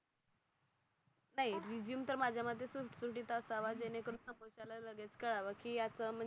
Resume तर माझ्या मते सुत सुटीत असावा. जेणे करून समोरच्या ला लगेच कळव कि याच म्हणजे